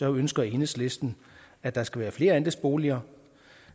ønsker enhedslisten at der skal være flere andelsboliger